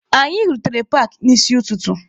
Anyị rutere paakị n'isi ụtụtụ.